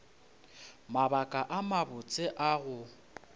mabaka a mabotse a go